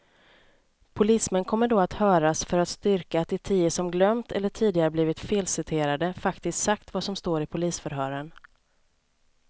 Polismän kommer då att höras för att styrka att de tio som glömt eller tidigare blivit felciterade faktiskt sagt vad som står i polisförhören.